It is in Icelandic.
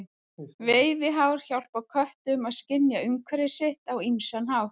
Veiðihár hjálpa köttum að skynja umhverfi sitt á ýmsan hátt.